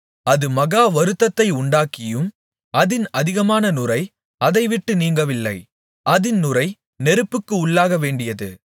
அது மகா வருத்தத்தை உண்டாக்கியும் அதின் அதிகமான நுரை அதை விட்டு நீங்கவில்லை அதின் நுரை நெருப்புக்கு உள்ளாகவேண்டியது